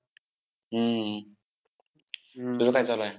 हम्म तुझं काय चालू आहे?